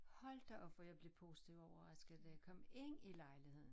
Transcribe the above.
Hold da op hvor jeg blev positivt overrasket da jeg kom ind i lejligheden